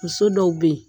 Muso dɔw be yen